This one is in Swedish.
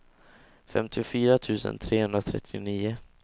femtiofyra tusen trehundratrettionio